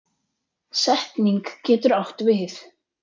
Setning getur átt við